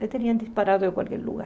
Ele tinha disparado de qualquer lugar.